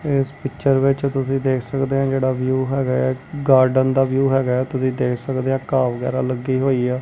ਇਸ ਪਿਕਚਰ ਵਿੱਚ ਤੁਸੀਂ ਦੇਖ ਸਕਦੇਹਾਂ ਜਿਹੜਾ ਵਿਊ ਹੈਗਾਆ ਇੱਕ ਗਾਰਡਨ ਦਾ ਵਿਊ ਹੈਗਾ ਹੈ ਤੁਸੀਂ ਦੇਖ ਸਕਦੇਹਾਂ ਘਾਹ ਵਗੈਰਾ ਲੱਗੀ ਹੋਈ ਹੈ।